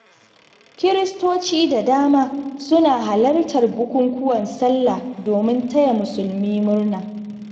Kiristoci da dama suna halartar bukukuwan Sallah domin taya Musulmi murna.